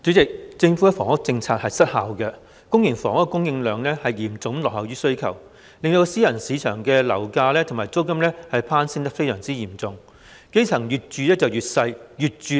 主席，政府的房屋政策失效，公營房屋的供應量嚴重落後於需求，令私人市場的樓價和租金大幅攀升，基層市民則越住越小、越住越貴。